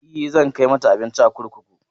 E, zan kai mata abinci a kurkuku.